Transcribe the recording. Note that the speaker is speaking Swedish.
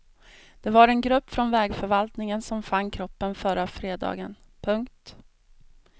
Det var en grupp från vägförvaltningen som fann kroppen förra fredagen. punkt